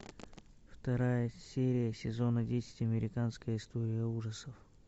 вторая серия сезона десять американская история ужасов